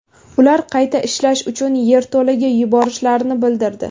Ular qayta ishlash uchun yerto‘laga yuborishlarini bildirdi.